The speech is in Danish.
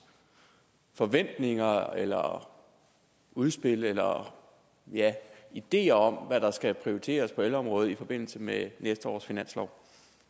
forventninger eller udspil eller ideer om hvad der skal prioriteres på ældreområdet i forbindelse med næste års finanslov